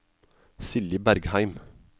Silje Bergheim